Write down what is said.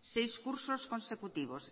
seis cursos consecutivos